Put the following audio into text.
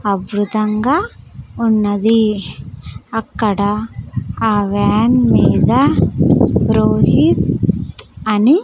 అభృతంగా ఉన్నది అక్కడ ఆ వ్యాన్ మీద రోహిత్ అని--